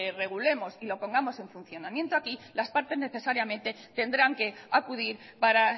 regulemos y lo pongamos en funcionamiento aquí las partes necesariamente tendrán que acudir para